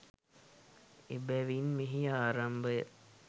එබැවින් මෙහි ආරම්භය